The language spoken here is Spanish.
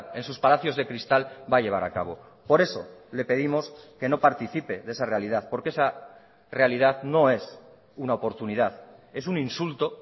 en sus palacios de cristal va a llevar a cabo por eso le pedimos que no participe de esa realidad porque esa realidad no es una oportunidad es un insulto